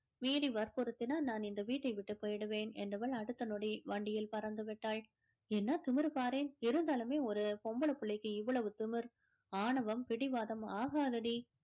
மீறி வற்புறுத்தினால் நான் இந்த வீட்டை விட்டு போயிடுவேன் என்றவள் அடுத்த நொடி வண்டியில் பறந்துவிட்டாள் என்ன திமிரு பாரேன் இருந்தாலுமே ஒரு பொம்பளைப் பிள்ளைக்கு இவ்வளவு திமிர் ஆணவம் பிடிவாதம் ஆகாதடி